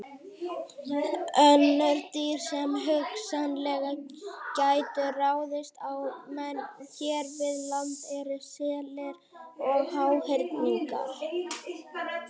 Önnur dýr sem hugsanlega gætu ráðist á menn hér við land eru selir og háhyrningar.